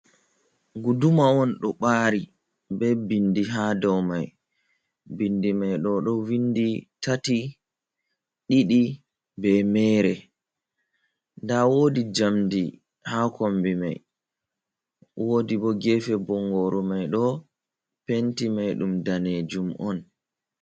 Guduma on ɗo ɓaari bee binndi haa dow may, binndi may ɗo vinndi tati, didi bee meere. Ndaa woodi njamndi haa kommbi may, woodi bo geefe bonngoru may ɗo penti may ɗum daneejum on.